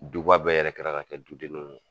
Duba bɛɛ yɛrɛkɛra ka kɛ du dennin ye